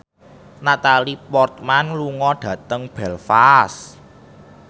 Natalie Portman lunga dhateng Belfast